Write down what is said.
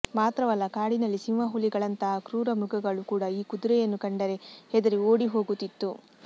ಮಾತ್ರವಲ್ಲ ಕಾಡಿನಲ್ಲಿ ಸಿಂಹ ಹುಲಿಗಳಂತಹಾ ಕ್ರೂರ ಮೃಗಗಳೂ ಕೂಡ ಈ ಕುದುರೆಯನ್ನು ಕಂಡರೆ ಹೆದರಿ ಓಡಿ ಹೋಗುತ್ತಿತ್ತು